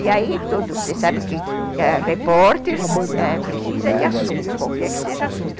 E aí, você sabe que repórter precisa de assunto, qualquer que seja assunto.